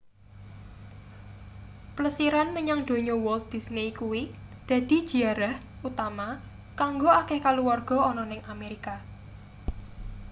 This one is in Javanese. plesiran menyang donya walt disney kuwi dadi jiarah utama kanggo akeh kaluwarga ana ning amerika